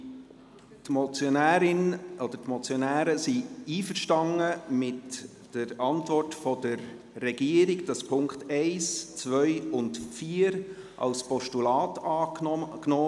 Die Motionärin oder die Motionäre sind einverstanden mit der Antwort der Regierung, wonach die Punkte 1, 2 und 4 als Postulat angenommen werden.